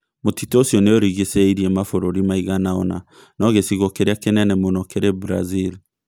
Mũtitũ ũcio nĩ ũrigicĩirie mabũrũri maigana ũna no gĩcigo kĩrĩa kĩnene mũno kĩrĩ Brazil.